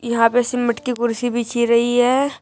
यहां पे सीमिट की कुर्सी बिछी रही है।